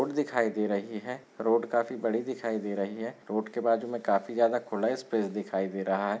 दिखाई दे रही है रोड काफी बड़ी दिखाई दे रही है रोड के बाजु मे काफी ज्यादा खुला स्पेस दिखाई दे रहा है।